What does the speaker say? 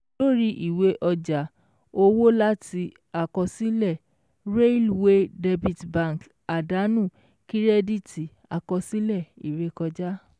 Lórí ìwé ọjà owó láti àkọsílẹ̀ Railway Debit Bank àdánù kírẹ́díìtì àkọsílẹ̀ ìrékọjá